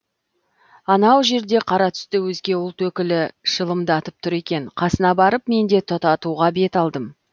анау жерде қара түсті өзге ұлт өкілі шылымдатып тұр екен қасына барып мен де тұтатуға бет алдым